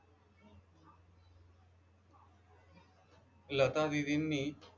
Lata दिदींनी